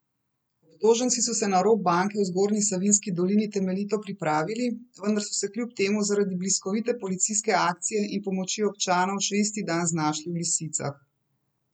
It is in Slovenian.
Obtoženci so se na rop banke v Zgornji Savinjski dolini temeljito pripravili, vendar so se kljub temu zaradi bliskovite policijske akcije in pomoči občanov še isti dan znašli v lisicah.